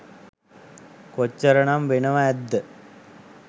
කොච්චර නම් වෙනව ඇත්ද